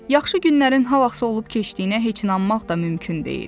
Yaxşı günlərin ha vaxtsa olub keçdiyinə heç inanmaq da mümkün deyil.